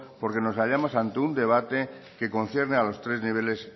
porque nos hallamos ante un debate que concierne a los tres niveles